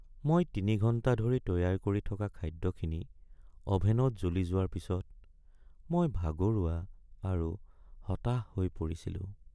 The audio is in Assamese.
মই ৩ ঘণ্টা ধৰি তৈয়াৰ কৰি থকা খাদ্যখিনি অ’ভেনত জ্বলি যোৱাৰ পিছত মই ভাগৰুৱা আৰু হতাশ হৈ পৰিছিলোঁ।